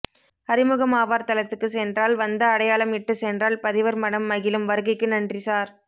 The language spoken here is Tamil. அறிமுகமாவர் தளத்துக்குச் சென்றால் வந்த அடையாளம் இட்டுச் சென்றால் பதிவர் மனம் மகிழும் வருகைக்கு நன்றி சார்